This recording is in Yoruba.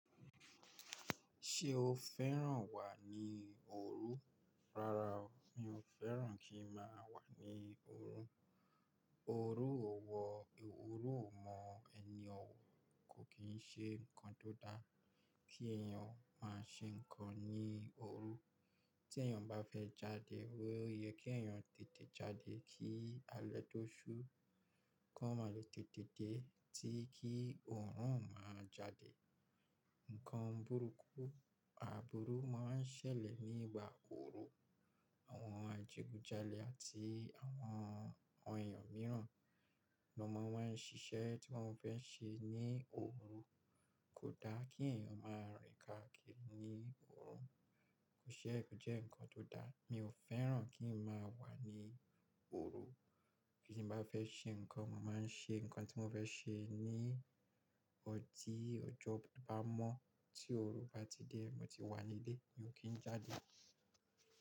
Ṣé o fẹ́ràn wà ní òru? Rárá o, mi ò fẹ́ràn kí ń máa wà ní òru. Òru ò wọ̀, òru ò mọ́ ẹni òwò, kò kì í ṣe nǹkan tó dá kí èèyàn máa ṣe nǹkan ní òru. Tí èèyàn bá fẹ́ jáde, ó yẹ kí èèyàn tètè jáde kí alẹ́ tó ṣú, kó má lè tètè dé tí kí oòrùn ò máa jáde. Ǹkan burúkú, àbúrú máa ń ṣẹlẹ̀ ní ìgbà òru. Àwọn adigunjalè àti àwọn èèyàn mìíràn, n'an mọ n wa ń ṣiṣẹ́ tí wọ́n fẹ́ ṣe ní òru. Kò dá kí èèyàn máa rìn káàkiri ní òru, kò ṣe, kò jẹ́ nǹkan tó dá. Mi ò fẹ́ràn kí ń máa wà ní òru. Bi tí mo bá fẹ́ ṣe nǹkan, mo máa ń ṣe nǹkan tí mo fẹ́ ṣe ní tí ọjọ́ bá mọ́. Tí òru bá ti dé, mo ti wà nílé, mi ò kí ń jáde.